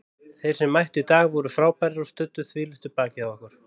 Þeir sem mættu í dag voru frábærir og studdu þvílíkt við bakið á okkur.